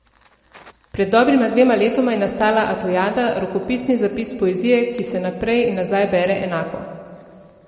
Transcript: Pred dobrima dvema letoma je nastala Atojada, rokopisni zapis poezije, ki se naprej in nazaj bere enako.